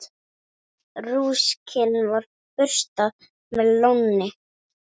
Rúskinn er burstað með lónni.